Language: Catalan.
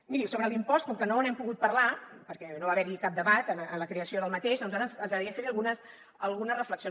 miri sobre l’impost com que no n’hem pogut parlar perquè no va haver hi cap debat en la creació d’aquest a nosaltres ens agradaria fer hi algunes reflexions